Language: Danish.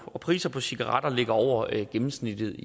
og prisen på cigaretter ligger over gennemsnittet i